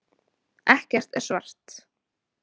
Ekkert er svart.